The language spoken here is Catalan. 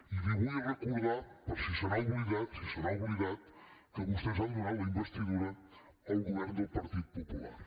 i li vull recordar per si se n’ha oblidat si se n’ha oblidat que vostès han donat la investidura al govern del partit popular